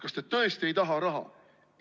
Kas te tõesti ei taha raha?